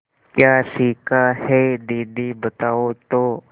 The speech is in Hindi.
क्या सीखा है दीदी बताओ तो